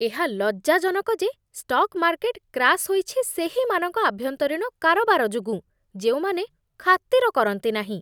ଏହା ଲଜ୍ଜାଜନକ ଯେ ଷ୍ଟକ୍ ମାର୍କେଟ୍ କ୍ରାଶ୍ ହୋଇଛି ସେହିମାନଙ୍କ ଆଭ୍ୟନ୍ତରୀଣ କାରବାର ଯୋଗୁଁ, ଯେଉଁମାନେ ଖାତିର କରନ୍ତି ନାହିଁ।